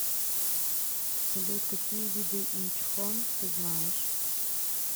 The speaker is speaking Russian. салют какие виды инчхон ты знаешь